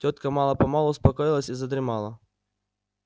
тётка мало-помалу успокоилась и задремала